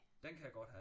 Den kan jeg godt have